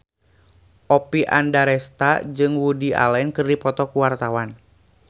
Oppie Andaresta jeung Woody Allen keur dipoto ku wartawan